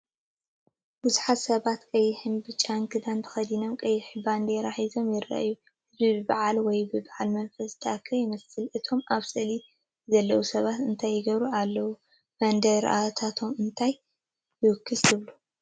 ብዙሓት ሰባት ቀይሕን ብጫን ክዳን ተኸዲኖም ቀያሕ ባንዴራ ሒዞም ይረኣዩ። ህዝቢ ብበዓል ወይ ብበዓል መንፈስ ዝተኣከበ ይመስል። እቶም ኣብ ስእሊ ዘለዉ ሰባት እንታይ ይገብሩ ኣለዉ? ባንዴራታቶም እንታይ ይውክላ ትብሉ?